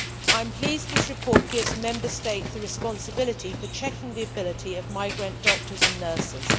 I am pleased that this report gives Member States the responsibility for checking the ability of migrant doctors and nurses.